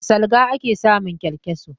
A salga ake samun kyankyaso.